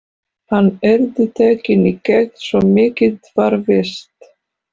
Hann yrði tekinn í gegn, svo mikið var víst.